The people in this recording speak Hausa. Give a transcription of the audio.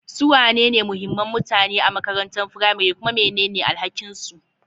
Su wane ne muhimman mutane a makarantar firamare, kuma mene ne alhakinsu?